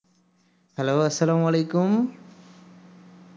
hello আসালামুআলাইকুম